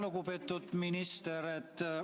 Lugupeetud minister!